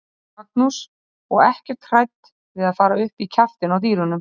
Magnús: Og ekkert hrædd við að fara upp í kjaftinn á dýrunum?